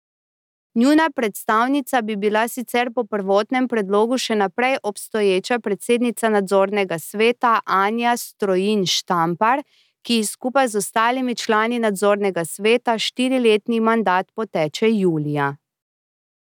Njuna predstavnica bi bila sicer po prvotnem predlogu še naprej obstoječa predsednica nadzornega sveta Anja Strojin Štampar, ki ji skupaj z ostalimi člani nadzornega sveta štiriletni mandat poteče julija.